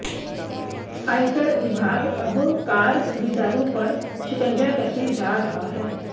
आयकर विभाग अब कार खरीदारों पर शिकंजा कसने जा रहा है